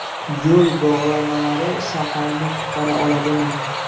Yo‘l bog‘lamalari shaharni qutqara oladimi?.